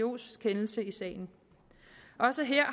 wtos kendelse i sagen også her